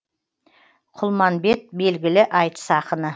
құлманбет белгілі айтыс ақыны